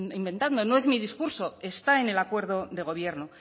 inventando no es mi discurso está en el acuerdo de gobierno